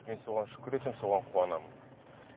мен соған шүкір етемін соған қуанамын